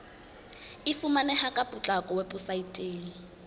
e fumaneha ka potlako weposaeteng